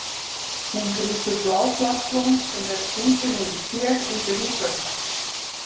Hún grípur blá plastblóm sem er stungið niður í ker undir húsveggnum.